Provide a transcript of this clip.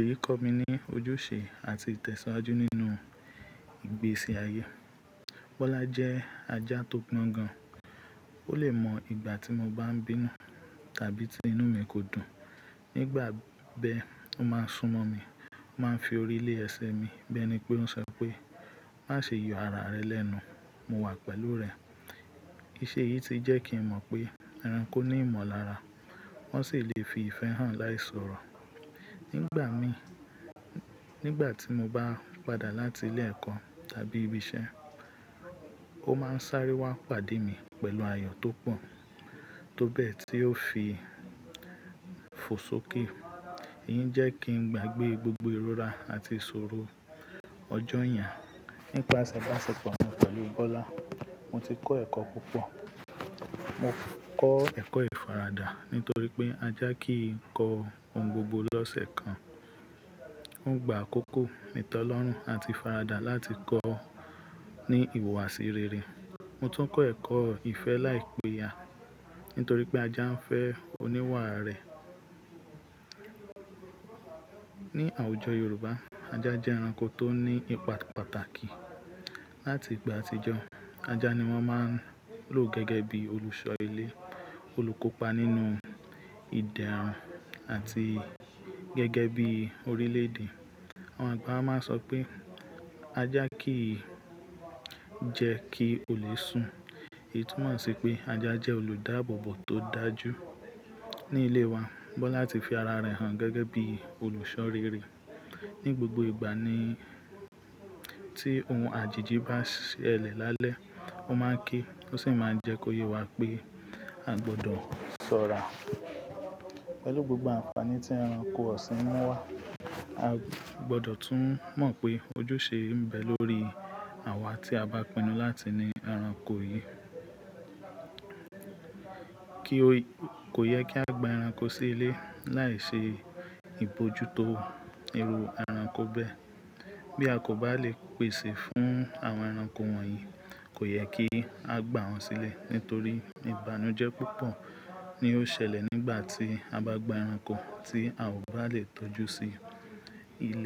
èyí kọ́ mi ní ojúṣe àti ìtẹ̀síwájú nínú ìgbésí ayé. Bọ́lá jẹ́ ajá tó gbọ́n gan. Ó lè mọ ìgbà tí mo bá ń bínú tàbí tí inú mi kò dùn. Nígbà bẹ́ẹ̀, ó máa ń súnmọ́ mi, ó máa ń fi orí lé ẹsẹ mi, bẹ́ẹ̀ ni pé ó ń sọ pé, "Má ṣe yọ ara rẹ lẹ́nu, mo wà pẹ̀lú rẹ." Iṣẹ́ yìí ti jẹ́ kí n mọ̀ pé ẹranko ní ìmọ̀lára, wọ́n sì lè fi ìfẹ́ hàn láì sọ̀rọ̀. Nígbà mí, nígbà tí mo bá padà láti ilé ẹ̀kọ́ tàbí ibi iṣẹ́, ó máa ń sáré wá pàdé mi pẹ̀lú ayọ̀ tó pọ̀, tó bẹ́ẹ̀ tí ó fi fo sókè. Èyí ń jẹ́ kí n gbagbe ìrora àti ìṣòro ọjọ́ yen. Nípa ìbáṣepọ̀ mi pẹ̀lú Bọ́lá, mo ti kọ́ ẹ̀kọ́ púpọ̀. Mo kọ́ ẹ̀kọ́ ìfaradà nítorí pé ajá kìí kọ ohun gbogbo lọ́sẹ̀ kan. Ó gba àkókò, ìtẹlọrun àti ìfaradà láti kọ́ ní ìhùwàsí rere. Mo tún kọ́ ẹ̀kọ́ ìfẹ́ láìpéya nítorí pé ajá ń fẹ́ oníwà rẹ̀. Ni àwùjọ Yorùbá, ajá jẹ́ ẹranko tó ní ipa pàtàkì. Láti ìgbà àtijọ́, ajá ni wọ́n máa ń lò gẹ́gẹ́ bí olùṣọ́ ilé, olùkópa nínú ìdẹ́rùn àti gẹ́gẹ́ bí orílẹ̀-èdè. Àwọn àgbà wa máa ń sọ pé, "Ajá kii jẹ kí olè sùn." Èyí túmọ̀ sí pé ajá jẹ́ olùdáábòbò tó dájú. Ní ilé wa, Bọ́lá ti fi ara rẹ̀ hàn gẹ́gẹ́ bí olùṣọ́ rere. Ni gbogbo ìgbà ni, tí ohun àìjìjí bá ṣẹlẹ̀ lálẹ́, ó máa ń ké, ó sì máa ń jẹ́ kó yé wa pé a gbọdọ̀ sọ́ra. Pẹ̀lú gbogbo àǹfààní tí ẹranko ọ̀sìn mú wá, a gbọdọ̀ tún mọ̀ pé ojúṣe ń bẹ lórí àwa tí a bá pinu láti ní ẹranko yìí. Kò yẹ kí a gba ẹranko sí ilé láì ṣe ìbójútó irú ẹranko bẹ́ẹ̀. Bí a kò bá lè pèsè fún àwọn ẹranko wọ̀nyí, kò yẹ kí a gbà wọ́n sílẹ̀ nítorí ìbànújẹ́ púpọ̀ ni ó ṣẹlẹ̀ nígbà tí a bá gba ẹranko tí a ò bá lè tọ́jú sí ilé.